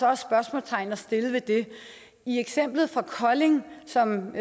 er spørgsmålstegn at sætte ved det i eksemplet fra kolding som